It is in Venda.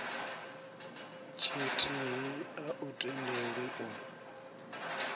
tshithihi a u tendelwi u